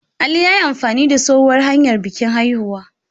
Ali ya yi amfani da tsohuwar hanyar bikin haihuwa.